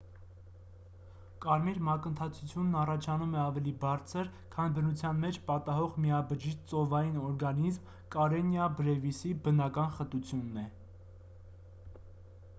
կարմիր մակընթացությունն առաջանում է ավելի բարձր քան բնության մեջ պատահող միաբջիջ ծովային օրգանիզմ կարենիա բրեվիսի բնական խտությունն է